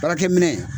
Baarakɛ minɛ